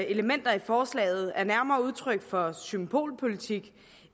elementer i forslaget er nærmere udtryk for symbolpolitik